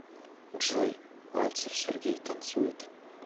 джой мальцев сергей танцует